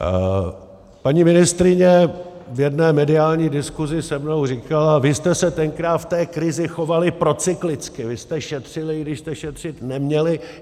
Paní ministryně v jedné mediální diskusi se mnou říkala: Vy jste se tenkrát v té krizi chovali procyklicky, vy jste šetřili, i když jste šetřit neměli.